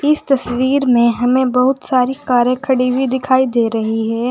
इस तस्वीर में हमें बहुत सारी कारें खड़ी हुई दिखाई दे रही है।